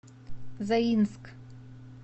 заинск